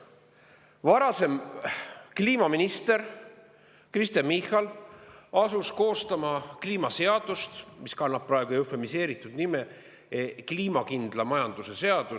Varasem kliimaminister Kristen Michal asus koostama kliimaseadust, mis kannab praegu eufemiseeritud pealkirja "Kliimakindla majanduse seadus".